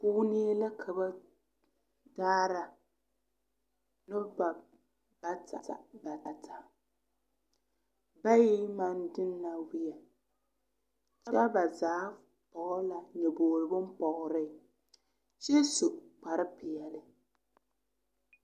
Kuunee la ka ba daara noba bata bata bayi eŋ maŋ de na wēɛ kyɛ ba zaa pɔɡe la nyoboɡri bompɔɡri kyɛ su kparpeɛle.